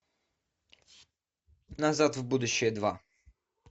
назад в будущее два